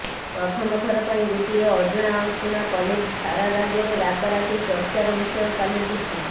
ପ୍ରଥମଥର ପାଇଁ ଗୋଟିଏ ଅଜଣା ଅଶୁଣା କଲେଜ୍ ସାରା ରାଜ୍ୟରେ ରାତାରାତି ଚର୍ଚାର ବିଷୟ ପାଲଟିଛି